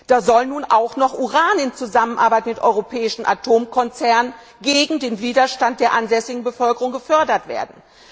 Da soll nun auch noch Uran in Zusammenarbeit mit europäischen Atomkonzernen gegen den Widerstand der ansässigen Bevölkerung gefördert werden.